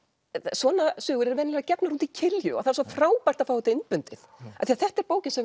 svona sögur eru venjulega gefnar út í kilju og það er svo frábært að fá þetta innbundið af því þetta er bók sem